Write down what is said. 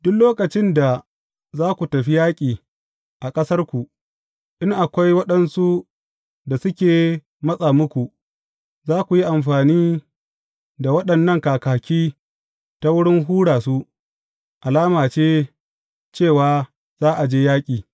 Duk lokacin da za ku tafi yaƙi a ƙasarku, in akwai waɗansu da suke matsa muku, za ku yi amfani da waɗannan kakaki ta wurin hura su, alama ce, cewa za a je yaƙi.